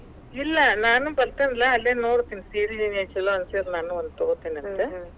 ಇಲ್ಲಾ ನಾನು ಬತೇ೯ನಲಾ ಅಲ್ಲೇ ನೋಡತಿನಿ. ಸೀರಿ ಏನರ ಛಲೋ ಅನಿಸೀದ್ರ ನಾನು ಒಂದ ತಗೋತಿನಂತ.